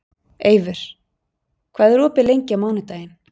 Eivör, hvað er opið lengi á mánudaginn?